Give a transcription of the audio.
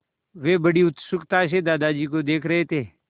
वे बड़ी उत्सुकता से दादाजी को देख रहे थे